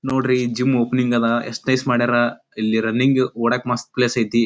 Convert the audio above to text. ನೋಡ್ರಿ gym opening ಅದ advertise ಮಾಡ್ಯಾರ ಇಲ್ಲಿ ರನ್ನಿಂಗ್ ಓಡೋಕ್ ಮಸ್ತ್ ಪ್ಲೇಸ್ ಐತಿ.